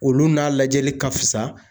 Olu n'a lajɛli ka fisa